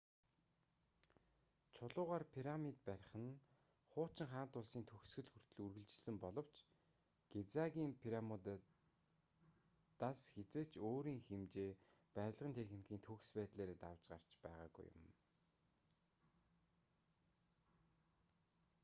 чулуугаар пирамид барих нь хуучин хаант улсын төгсгөл хүртэл үргэлжилсэн боловч гизагийн пирамидуудаас хэзээ ч өөрийн хэмжээ барилгын техникийн төгс байдлаараа давж гарч байгаагүй юм